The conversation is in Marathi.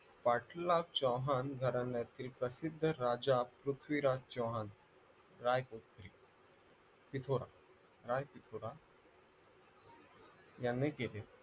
पाटलाग चव्हाण घराण्यातील प्रसिद्ध राजा पृथ्वीराज चव्हाण रायतीथोरा रायतीथोरा यांनी केले